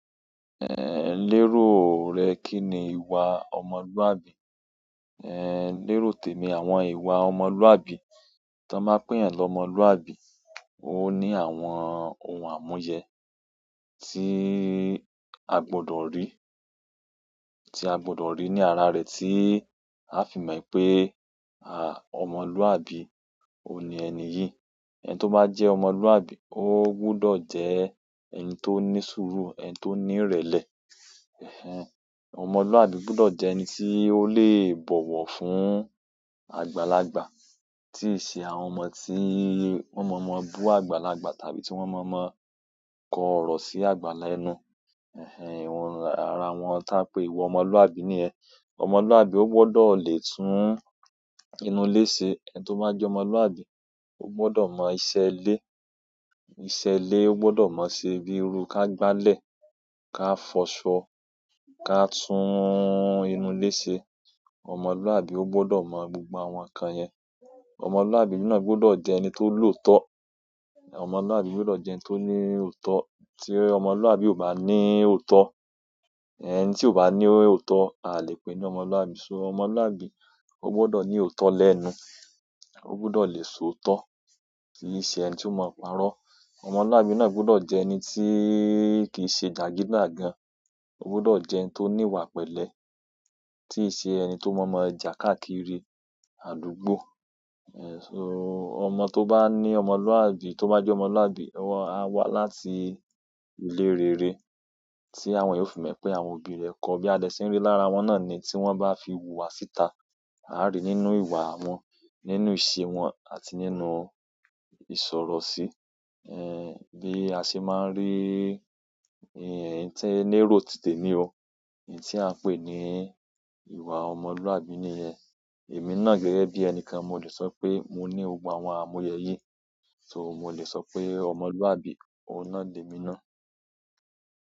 Lérò rẹ kí ni ìwà ọmọlúàbí? Lérò tèmi àwọn ìwà ọmọlúàbí. Tón ba peyàn lọmọlúàbí, o ní àwọn ohun àmúyẹ tí a gbọdọ̀ rí, tí a gbọdọ̀ rí ní ara rẹ tí a fi mọ̀ wipé ọmọlúàbí, òun ní ẹni yìí. Ẹn tó bá jẹ́ ọmọlúàbí, ó gbọdọ̀ jẹ́ ẹni tó ní sùúrù, ẹni tó ní ìrẹ̀lẹ̀. Ẹhẹn, ọmọlúàbí gbọdọ̀ jẹ́ ẹni tí ó lè bọ̀wọ̀ fún àgbàlagbà, tí ì ṣe àwọn ọmọ tí wọ́n mọ̀ọ́mọ̀ bu àgbàlagbà tàbí tí wọ́n mọ̀ọ́mọ̀ kọ ọ̀rọ̀ sí àgbà lẹ́nu. Ẹhẹn, awọ̀n ara àwọn táa pé ìwà ọmọlúàbí niyen. Ọmọlúàbí ó gbọdọ̀ le tún inú ilé ṣe. Ẹn tó bá jẹ́ ọmọlúàbí, ó gbọdọ̀ mọ iṣẹ́ ilé. Iṣẹ́ ilé ó gbọdọ̀ mọ ṣe bíi irú ká gbálẹ̀, ká fọṣọ, ká tún inú ilé ṣe. Ọmọlúàbí ó gbọdọ̀ mọ gbogbo àwọn nǹkan yẹn. Ọmọlúàbí náà gbọdọ̀ jẹ́ ẹni tó lọ̀ọ́tọ́. Ọmọlúàbí gbọdọ̀ jẹ́ ẹni tó ní òótọ́. Tí ọmọlúàbí ò bá ní òótọ́, ẹni tí ò bá ní òótọ́, a lè pè ní ọmọlúàbí. So ọmọlúàbí ó gbọdọ̀ ní òótọ́ lẹ́nu. Ó gbudọ̀ le sọ òótọ́. Kì í ṣe ẹni tí ó mọ̀ parọ́. Ọmọlúàbí náà gbọdọ̀ jẹ́ ẹni tí kì í ṣe jagidijagan. Ó gbọdọ̀ jẹ́ ẹni tó ní ìwà pẹ̀lẹ́. Tì í ṣe ẹni tó mọ̀ọ́mọ̀ ja káàkiri àdúgbò. Ẹ̀ṣọ ọmọ tó bá ní ọmọlúàbí, tó bá jẹ́ ọmọlúàbí, a wa wá láti ìlé rere tí àwọn ènìyàn yóò fi mọ̀ pé àwọn òbí rẹ̀ kọ. Bí a de ṣe ń rí lára wọn náà ni tí wọ́n bá fi wùwà síta. A á rí i nínú ìwà wọn, nínú ìṣe wọn àti nínú ìsọ̀rọ̀ sí. Ẹn, bí a ṣe máa ń rí, ẹni ti, lérò tìtẹ̀mi o. Oun ti a n oe ni ìwà omoluabi niyen, emi na gẹ́gẹ́ bi enikan, mo le so pe mo ni gbogbo àwọn àmuyè yìí so mo lè sọ pé ọmọlúàbí, òun náà lemi náà.